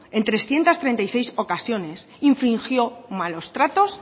en trescientos treinta y seis ocasiones infringió malos tratos